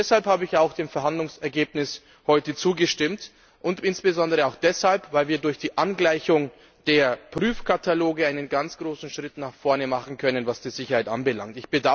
Deshalb habe ich auch dem Verhandlungsergebnis heute zugestimmt, und insbesondere auch deshalb, weil wir durch die Angleichung der Prüfkataloge einen ganz großen Schritt nach vorne machen können, was die Sicherheit anbelangt.